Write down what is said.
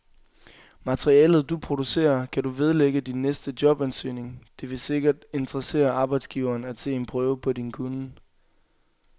Materialet, du producerer, kan du vedlægge din næste jobansøgning, det vil sikkert interessere arbejdsgiveren at se en prøve på din kunnen.